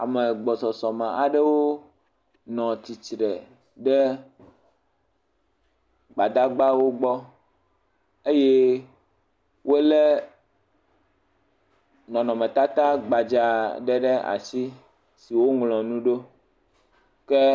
Ame gbɔsɔsɔ me aɖewo nɔ tsitre ɖe gbadagbawo gbɔ eye wolé nɔnɔmetata gbadza aɖe ɖe asi si woŋlɔ nu ɖo, ke…